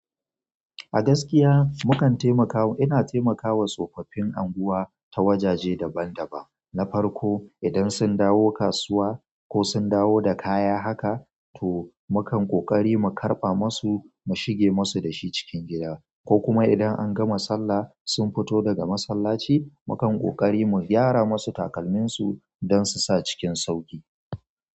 A gaskiya na kan taimaka. Ina taimakawa tsofaffi unguwa ta wajaje daban-daban. Na farko, idan sun dawo kasuwa ko sun dawo da kaya haka, to mu kan ƙoƙari mu karɓa masu mu shige masu da shi cikin gida. Ko kuma idan an gama sallah sun fito daga masallaci, mu kan ƙoƙari mu gyara masu takalminsu don su sa cikin sauƙi.